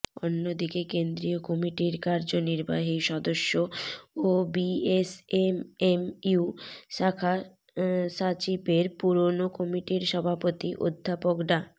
অন্যদিকে কেন্দ্রীয় কমিটির কার্যনির্বাহী সদস্য ও বিএসএমএমইউ শাখা স্বাচিপের পুরনো কমিটির সভাপতি অধ্যাপক ডা